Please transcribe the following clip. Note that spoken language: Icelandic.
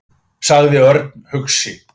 sagði Örn hugsi.